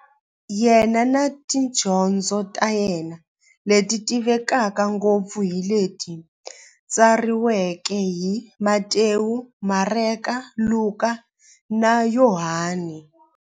Yena na tidyondzo ta yena, leti tivekaka ngopfu hi leti tsariweke hi-Matewu, Mareka, Luka, na Yohani.